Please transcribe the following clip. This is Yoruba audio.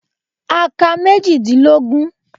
A ka méjìdínlógún.